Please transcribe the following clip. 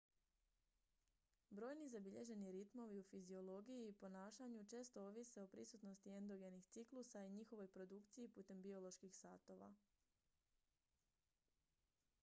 brojni zabilježeni ritmovi u fiziologiji i ponašanju često ovise o prisutnosti endogenih ciklusa i njihovoj produkciji putem bioloških satova